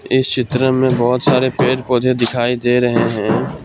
इस चित्र में बहुत सारे पेड़ पौधे दिखाई दे रहे हैं।